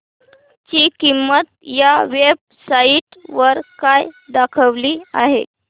ची किंमत या वेब साइट वर काय दाखवली आहे